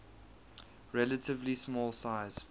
relatively small size